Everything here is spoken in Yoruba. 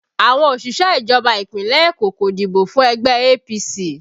Àwọn òṣìṣẹ́ ìjọba Ìpínlẹ̀ Eko kò dìbò fún ẹgbẹ́ APC